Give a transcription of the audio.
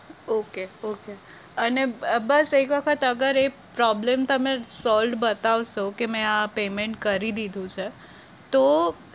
okay okay અને બ બસ એક વખત અગર એ problem તમે solved બતાવ શો કે મેં આ payment કરી દીધું છે તો